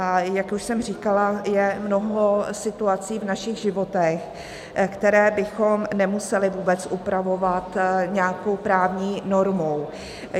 A jak už jsem říkala, je mnoho situací v našich životech, které bychom nemuseli vůbec upravovat nějakou právní normou.